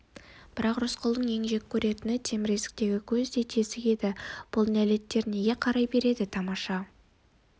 бірақ рысқұлдың ең жек көретіні темір есіктегі көздей тесік еді бұл нәлеттер неге қарай береді тамаша